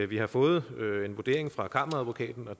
vi har fået en vurdering fra kammeradvokaten og